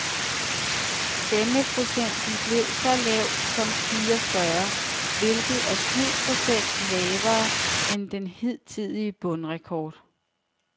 Stemmeprocenten blev så lav som fireogfyrre, hvilket er syv procent lavere end den hidtidige bundrekord.